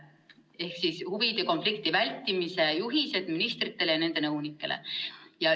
Ehk on olemas huvide konflikti vältimise juhised ministritele ja nende nõunikele.